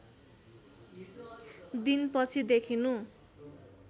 दिन पछि देखिनु